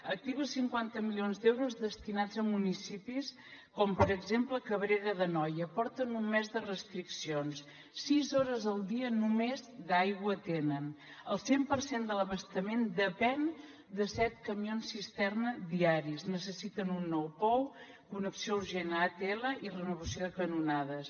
activi els cinquanta milions d’euros destinats a municipis com per exemple cabrera d’anoia porten un mes de restriccions sis hores al dia només d’aigua tenen el cent per cent de l’abastament depèn de set camions cisterna diaris necessiten un nou pou connexió urgent a atl i renovació de canonades